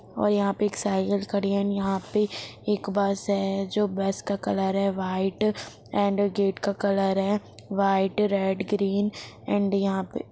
और यहां पे एक साइकिल खड़ी है एंड यहां पे एक बस है जो बस का कलर है व्हाइट एण्ड गेट का कलर है व्हाइट रेड ग्रीन एण्ड यहां पे --